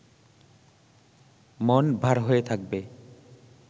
মন ভার হয়ে থাকবে